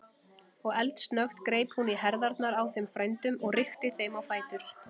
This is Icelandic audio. Og eldsnöggt greip hún í herðarnar á þeim frændum og rykkti þeim á fætur.